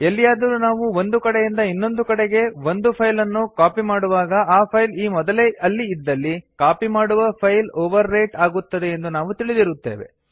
ಎಲ್ಲಿಯಾದರೂ ನಾವು ಒಂದು ಕಡೆಯಿಂದ ಇನ್ನೊಂದು ಕಡೆಗೆ ಒಂದು ಫೈಲ್ ಅನ್ನು ಕಾಪಿ ಮಾಡುವಾಗ ಆ ಫೈಲ್ ಈ ಮೊದಲೇ ಅಲ್ಲಿ ಇದ್ದಲ್ಲಿ ಕಾಪಿ ಮಾಡುವ ಫೈಲ್ ಓವರ್ ರೈಟ್ ಆಗುತ್ತದೆಯೆಂದು ನಾವು ತಿಳಿದಿರುತ್ತೇವೆ